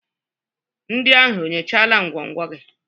Ndị ahụ enyochala ngwongwo gị?